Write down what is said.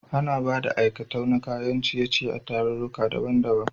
Ana Bada aikatau na kayan ciye ciye a tararruka daban daban